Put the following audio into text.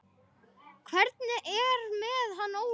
Hvernig er með hann Óla?